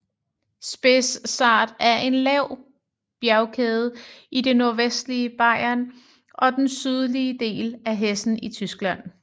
Spessart er en lav bjergkæde i det nordvestlige Bayern og den sydlige del af Hessen i Tyskland